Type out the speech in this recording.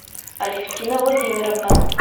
алевтина владимировна